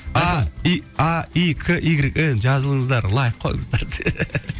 а и а и к игрек эн жазылыңыздар лайк қойыңыздар десең